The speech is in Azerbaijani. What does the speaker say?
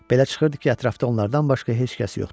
Belə çıxırdı ki, ətrafda onlardan başqa heç kəs yoxdur.